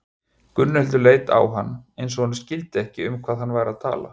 Gunnhildur leit á hann eins og hún skildi ekki um hvað hann væri að tala.